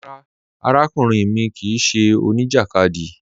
Rárá, àràkùnrìn mi kíì ṣẹ́ oníjakádì.